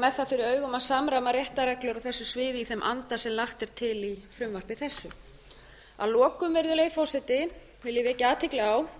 með það fyrir augum að samræma réttarreglur á þessu sviði í þeim anda sem lagt er til í frumvarpi þessu að lokum virðulegi forseti vil ég vekja athygli á